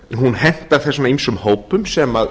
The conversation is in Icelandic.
hún hentar þessum ýmsu hópum sem